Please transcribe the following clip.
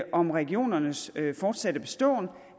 om regionernes fortsatte beståen